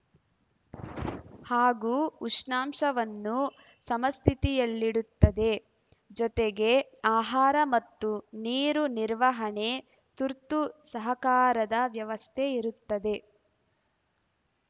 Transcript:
ಹಾಗೂ ಉಷ್ಣಾಂಶವನ್ನು ಸಮಸ್ಥಿತಿಯಲ್ಲಿಡುತ್ತದೆ ಜೊತೆಗೆ ಆಹಾರ ಮತ್ತು ನೀರು ನಿರ್ವಹಣೆ ತುರ್ತು ಸಹಕಾರದ ವ್ಯವಸ್ಥೆ ಇರುತ್ತದೆ